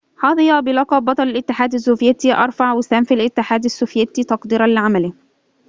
حظي بلقب بطل الاتحاد السوفياتي أرفع وسام في الاتحاد السوفياتي تقديرًا لعمله